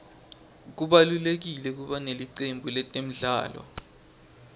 kubalulekile kuba nelicembu letemidlalo